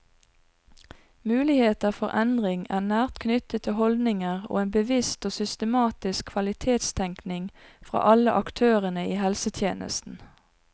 Muligheter for endring er nært knyttet til holdninger og en bevisst og systematisk kvalitetstenkning fra alle aktørene i helsetjenesten.